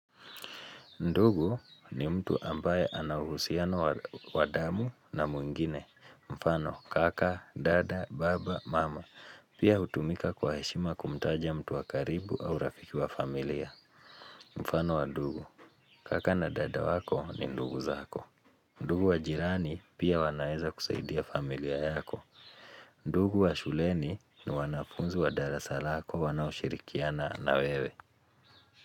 Ndugu ni mtu ambaye ana uhusiano wa damu na mwingine. Mfano, kaka, dada, baba, mama. Pia hutumika kwa heshima kumtaja mtu wa karibu au rafiki wa familia. Mfano wa ndugu, kaka na dada wako ni ndugu zako. Ndugu wa jirani pia wanaeza kusaidia familia yako. Ndugu wa shuleni ni wanafunzi wa darasa lako wanaoshirikiana na wewe.